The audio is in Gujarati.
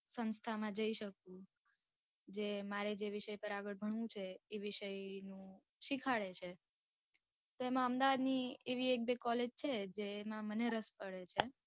સંસ્થા મા જઈ શકું જે મારે જે વિષય પર આગળ ભણવું છે એ વિષય નું સીખાડે છે. તો એમાં અમદાવાદ ની એવી એક બે College છે. જેમાં મને રસ પડે.